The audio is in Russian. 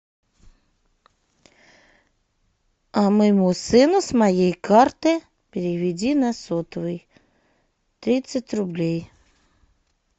моему сыну с моей карты переведи на сотовый тридцать рублей